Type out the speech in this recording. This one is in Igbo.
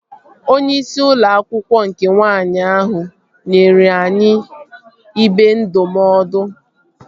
Onyeisi ụlọ akwụkwọ nke nwaanyị ahụ nyere anyị ibe ndụmọdụ